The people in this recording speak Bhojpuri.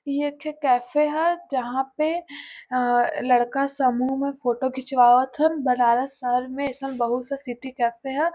ई एक ठे कैफे ह जहां पे अ लड़का समूह में फोटो खिंचवावत हन। बनारस शहर में अइसन बहुत-सा सिटी कैफे ह।